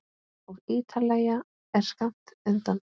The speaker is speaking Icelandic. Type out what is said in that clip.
Og Ítalía er skammt undan.